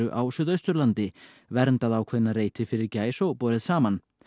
á Suðausturlandi verndað ákveðna reiti fyrir gæs og borið saman